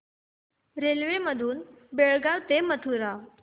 railway मधून बेळगाव ते मथुरा